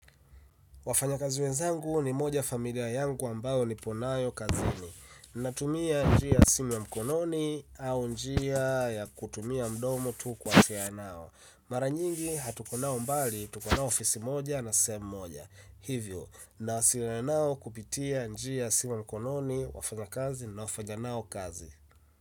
Wafanyakazi wenzangu ni moja ya familia yangu ambayo nipo nayo kazini. Natumia njia ya simu ya mkononi au njia ya kutumia mdomo tu kuwasiliana nao. Mara nyingi hatuko nao mbali, tuko nao ofisi moja na sehemu moja. Hivyo, nawasiliana nao kupitia njia ya simu wa mkononi, wafanyakazi ninaofanya nao kazi.